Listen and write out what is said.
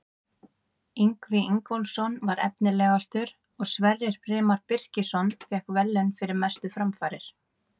Ingvi Ingólfsson var efnilegastur og Sverrir Brimar Birkisson fékk verðlaun fyrir mestu framfarir.